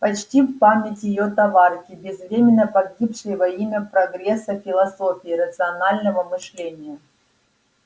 почтим память её товарки безвременно погибшей во имя прогресса философии и рационального мышления